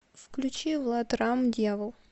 включить влад рамм дьявол